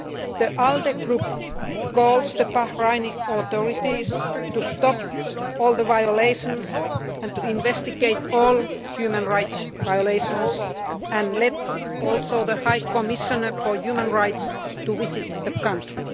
The ALDE Group calls on the Bahraini authorities to stop all the violations and investigate all human rights violations and to allow the High Commissioner for Human Rights to visit the country.